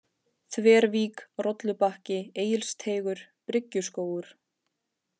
Þvervík, Rollubakki, Egilsteigur, Bryggjuskógur